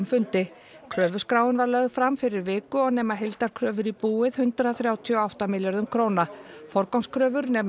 fundi kröfuskráin var lögð fram fyrir viku og nema heildarkröfur í búið hundrað þrjátíu og átta milljörðum króna forgangskröfur nema